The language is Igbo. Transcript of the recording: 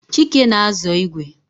Chike na-azọ igwe